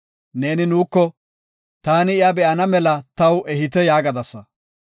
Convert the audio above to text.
“Neeni nuuko, ‘Taani iya be7ana mela taw ehite’ yaagadasa.